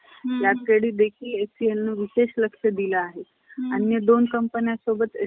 प्रतिक्रियांना अण्णा सा~ अण्णा शांतपणे सामोरे गेले. तेरा महिन्यानंतर या दा~ दाम्पत्याला मुलगा झाला. त्याच नाव शंकर ठेवलं.